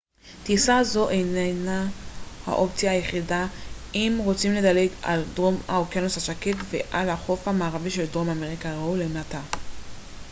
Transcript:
טיסה זו איננה האופציה היחידה אם רוצים לדלג על דרום האוקיינוס השקט ועל החוף המערבי של דרום אמריקה. ראו למטה